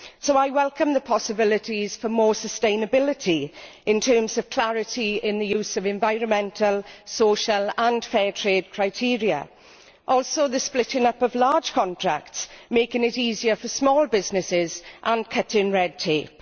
I welcome the possibilities for more sustainability in terms of clarity in the use of environmental, social and fair trade criteria, and also the splitting up of large contracts, making things easier for small businesses and cutting red tape.